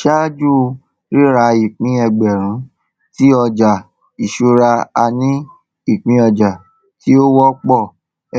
ṣáájú rírà ìpín ẹgbẹrún tí ọjà ìṣúra a ní ìpín ọjà tí ó wọpọ